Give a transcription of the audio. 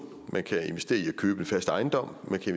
man kan investere i at købe fast ejendom man kan